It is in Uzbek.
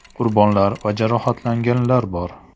Qurbonlar va jarohatlanganlar bor.